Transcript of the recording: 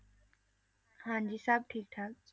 ਹਾਂਜੀ ਸਭ ਠੀਕ ਠਾਕ।